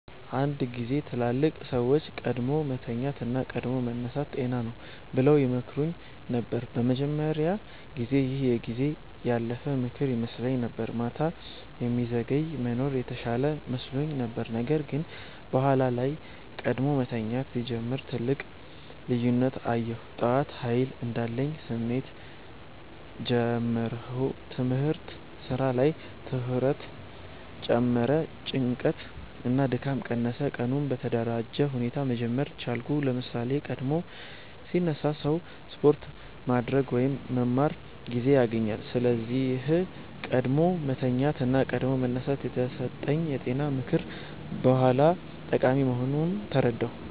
አንድ ጊዜ ትላልቅ ሰዎች “ቀድሞ መተኛት እና ቀድሞ መነሳት ጤና ነው” ብለው ይመክሩኝ ነበር። በመጀመሪያ ጊዜ ይህ የጊዜ ያለፈ ምክር ይመስለኝ ነበር፤ ማታ የሚዘገይ መኖር የተሻለ መስሎኝ ነበር። ነገር ግን በኋላ ላይ ቀድሞ መተኛት ሲጀምር ትልቅ ልዩነት አየሁ። ጠዋት ኃይል እንዳለኝ ስሜት ጀመርሁ ትምህርት/ስራ ላይ ትኩረት ጨመረ ጭንቀት እና ድካም ቀነሰ ቀኑን በተደራጀ ሁኔታ መጀመር ቻልኩ ለምሳሌ፣ ቀድሞ ሲነሳ ሰው ስፖርት ማድረግ ወይም መማር ጊዜ ያገኛል። ስለዚህ “ቀድሞ መተኛት እና ቀድሞ መነሳት” የተሰጠኝ የጤና ምክር በኋላ ጠቃሚ መሆኑን ተረዳሁ።